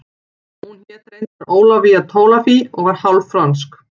Hún hét reyndar Ólafía Tolafie og var hálf frönsk